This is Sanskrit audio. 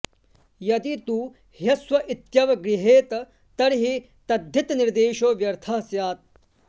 यदि तु ह्यस्व इत्यव गृह्रेत तर्हि तद्धितनिर्देशो व्यर्थः स्यात्